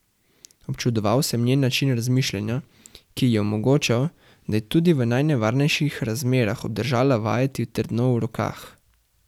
Občudoval sem njen način razmišljanja, ki ji je omogočal, da je tudi v najnevarnejših razmerah obdržala vajeti trdno v rokah.